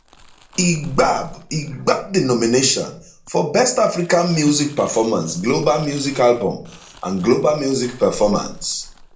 e gbab e gbab di nomination for best african music performance global music album and global music performance